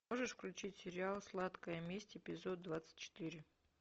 можешь включить сериал сладкая месть эпизод двадцать четыре